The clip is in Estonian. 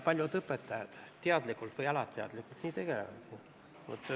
Paljud õpetajad teadlikult või alateadlikult sellega tegelevadki.